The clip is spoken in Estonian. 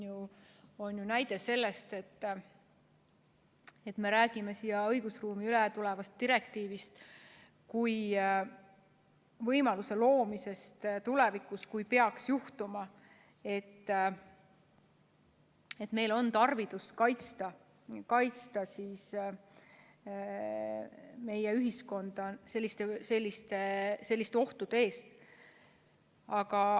See on ju näide sellest, et me räägime siia õigusruumi ülevõetavast direktiivist kui võimaluse loomisest tulevikuks, kui peaks juhtuma, et meil on tarvidus kaitsta meie ühiskonda selliste ohtude eest.